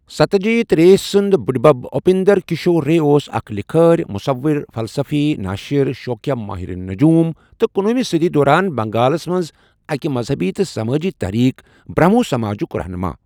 ستیہ جیت رےسُند بٕڑِبَب، اٗپیندر کشور رے اوس اکھ لِکھٲرۍ، مصور، فِلسفی، نٲشِر، شوقیہ مٲہر نَجوٗم، تہٕ کُنوُہِمہِ صٔدی دوران بنگالس منٛز أکِہِ مذہبی تہٕ سمٲجی تحریک بھرمہو سماجُک رہنُما۔